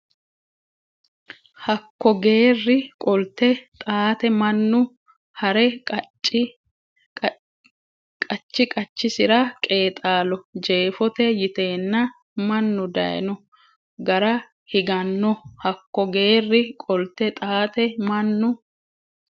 Hakko geerri qolte Xaate mannu ha re qachi qachisira qeexaallo Jeefote yiteenna mannu dayno gara higanno Hakko geerri qolte Xaate mannu.